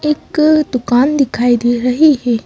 एक दुकान दिखाई दे रही है।